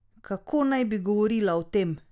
Kako naj bi govorila o tem?